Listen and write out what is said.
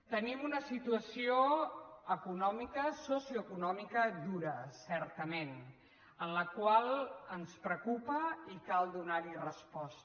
tenim una situació econòmica socioeconòmica dura certament la qual ens preocupa i cal donar hi resposta